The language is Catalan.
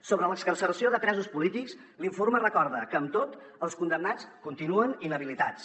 sobre l’excarceració de presos polítics l’informe recorda que amb tot els condemnats continuen inhabilitats